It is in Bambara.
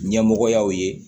Ɲɛmɔgɔyaw ye